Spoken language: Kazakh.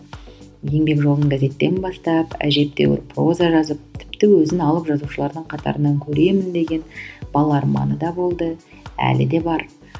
еңбек жолын газеттен бастап әжептеуір проза жазып тіпті өзін алып жазушылардың қатарынан көремін деген бала арманы да болды әлі де бар